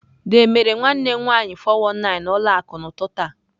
The mere nwanne m nwanyị 419 na ụlọ akụ n'ụtụtụ a.